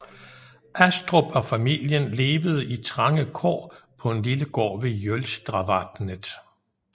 Astrup og familien levede i trange kår på en lille gård ved Jølstravatnet